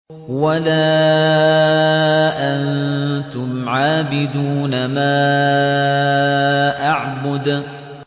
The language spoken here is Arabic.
وَلَا أَنتُمْ عَابِدُونَ مَا أَعْبُدُ